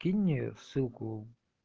кинь мне ссылку